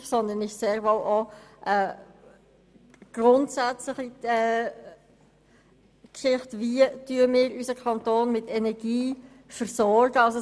Sie behandelt sehr wohl auch grundsätzliche Themen, wie wir unseren Kanton mit Energie versorgen wollen.